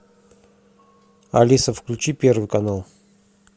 алиса включи первый канал